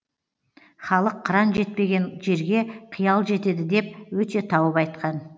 халық қыран жетпеген жерге қиял жетеді деп өте тауып айтқан